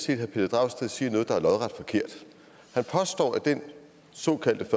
herre pelle dragsted siger noget der er lodret forkert han påstår at den såkaldte